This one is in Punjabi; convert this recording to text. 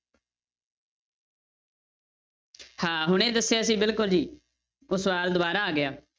ਹਾਂ ਹੁਣੇ ਦੱਸਿਆ ਸੀ ਬਿਲਕੁਲ ਜੀ, ਉਹ ਸਵਾਲ ਦੁਬਾਰਾ ਆ ਗਿਆ।